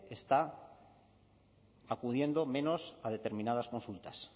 está acudiendo menos a determinadas consultas